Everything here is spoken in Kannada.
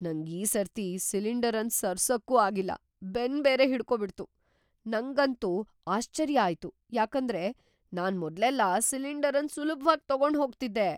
ನಂಗ್ ಈ ಸರ್ತಿ ಸಿಲಿಂಡರ್ ಅನ್ನ ಸರ್ಸಕ್ಕೂ ಆಗಿಲ್ಲ ಬೆನ್ ಬೇರೆ ಹಿಡ್ಕೋ ಬಿಡ್ತು. ನಂಗಂತೂ ಆಶ್ಚರ್ಯ ಆಯ್ತು ಯಾಕಂದ್ರೆ ನಾನ್ ಮೊದ್ಲೆಲ್ಲಾ ಸಿಲಿಂಡರ್ ಅನ್ ಸುಲ್ಭವಾಗ್ ತಗೊಂಡ್ ಹೋಗ್ತಿದ್ದೆ.